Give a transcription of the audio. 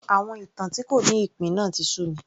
Àwọn ìtàn tí kò ní ìpín náà tí sú mi